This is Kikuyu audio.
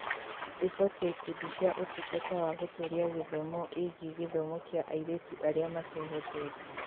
Riboti ya Ikundi cia Ũtungata wa Gũtũũria Gĩthomo ĩgiĩ gĩthomo kĩa airĩtu arĩa matehotete.